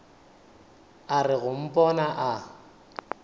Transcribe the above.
a re go mpona a